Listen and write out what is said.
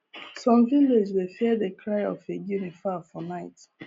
some village dey fear the cry of a guinea fowl for night